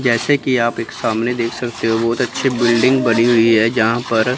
जैसे की आप एक सामने देख सकते हो बहुत अच्छे बिल्डिंग बनी हुई हैं जहां पर--